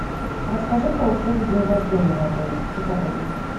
расскажи про услугу день рождения в отеле все подробности